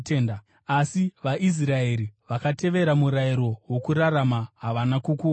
asi vaIsraeri vakatevera murayiro wokurarama, havana kukuwana.